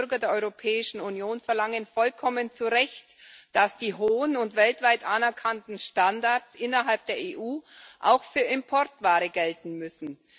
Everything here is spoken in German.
Die Bürger der Europäischen Union verlangen vollkommen zu Recht, dass die hohen und weltweit anerkannten Standards innerhalb der EU auch für Importware gelten müssen.